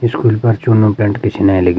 स्कूल पर चुनू पेंट पिछने लग्युं।